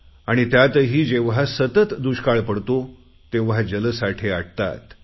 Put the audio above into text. आणि त्यातही जेव्हा सतत दुष्काळ पडतो तेव्हा जलसाठे आटतात